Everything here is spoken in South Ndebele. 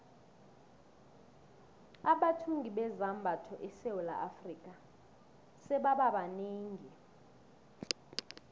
abathungi bezambatho esewula afrika sebaba banengi